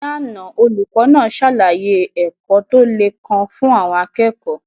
Ní àná, olùkọ́ náà ṣàlàyé ẹ̀kọ́ tó le kan fún àwọn akẹ́kọ̀ọ́.